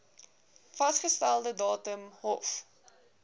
vasgestelde datum hof